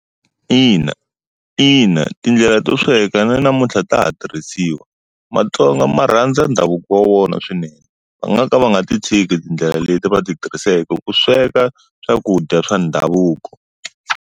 Ina. Ina tindlela to sweka na namuntlha ta ha tirhisiwa. Matsonga ma rhandza ndhavuko wa vona swinene. Va nga ka va nga ti tshiki tindlela leti va ti tirhisaka ku sweka swakudya swa ndhavuko.